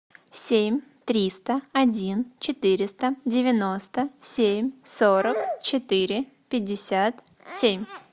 семь триста один четыреста девяносто семь сорок четыре пятьдесят семь